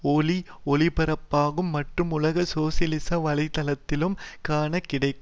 ஒளிஒலிபரப்பாகும் மற்றும் உலக சோசியலிச வலை தளத்திலும் காண கிடைக்கு